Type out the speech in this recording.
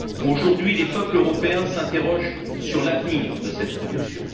Aujourd'hui, les peuples européens s'interrogent sur l'avenir de cette production.